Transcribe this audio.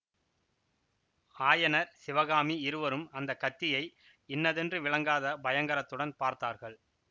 ஆயனர் சிவகாமி இருவரும் அந்த கத்தியை இன்னதென்று விளங்காத பயங்கரத்துடன் பார்த்தார்கள்